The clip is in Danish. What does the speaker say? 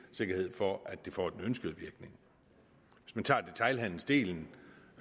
sikkerhed for at det får den ønskede virkning hvis vi tager detailhandelen